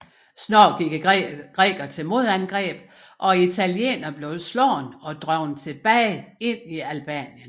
Snart gik grækerne til modangreb og italienerne blev slået og drevet tilbage ind i Albanien